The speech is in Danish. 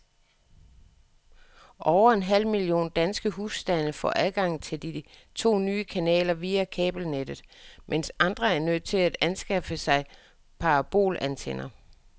Over en halv million danske husstande får adgang til de to nye kanaler via kabelnettet, mens andre er nødt til at anskaffe sig parabolantenner.